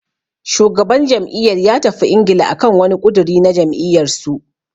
Shugaban jam'iyyar ya tafi Ingila akan wani ƙudiri na jam'iyyar su.